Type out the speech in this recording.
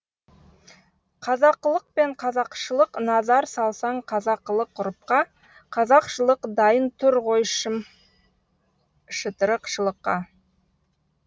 қазақылық пен қазақшылық назар салсаң қазақылық ғұрыпқа қазақшылық дайын тұр ғой шым шытырықшылыққа